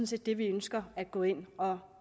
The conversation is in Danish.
set det vi ønsker at gå ind og